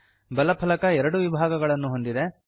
ಬಲ ಫಲಕ ಎರಡು ವಿಭಾಗಗಳನ್ನು ಹೊಂದಿದೆ